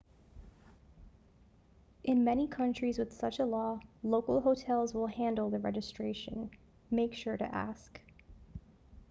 in many countries with such a law local hotels will handle the registration make sure to ask